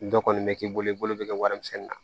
Dɔ kɔni bɛ k'i bolo i bolo bɛ kɛ wari misɛnin na